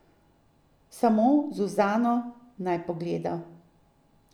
Samo Zuzano naj pogleda!